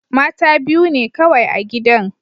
Mata biyu ne kawai a gidan.